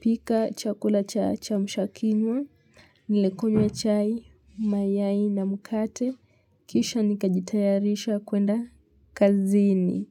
pika chakula cha chamshakinywa nil kunywa chai mayai na mkate kisha nikajitayarisha kwenda kazini.